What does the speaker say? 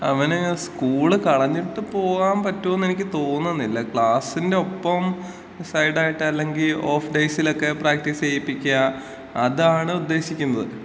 അവന് സ്കൂള് കളഞ്ഞിട്ടു പോവാൻ പറ്റൂന്ന് എനിക്ക് തോന്നുന്നില്ല. ക്ലാസിന്‍റെ ഒപ്പം സൈഡ് ആയിട്ട് അല്ലെങ്കി ഓഫ് ഡേയ്സിലൊക്കെ പ്രാക്ടീസ് ചെയ്യിപ്പിക്ക, അതാണ് ഉദ്ദേശിക്കുന്നത്.